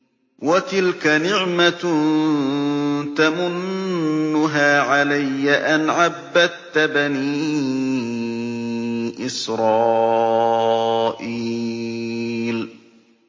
وَتِلْكَ نِعْمَةٌ تَمُنُّهَا عَلَيَّ أَنْ عَبَّدتَّ بَنِي إِسْرَائِيلَ